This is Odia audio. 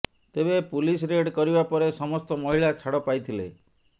ତେବେ ପୁଲିସ ରେଡ୍ କରିବା ପରେ ସମସ୍ତ ମହିଳା ଛାଡ଼ ପାଇଥିଲେ